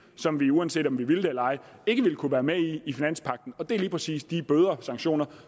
som vi uanset om vi ville det eller ej ikke ville kunne være med i i finanspagten og det er lige præcis de bøder og sanktioner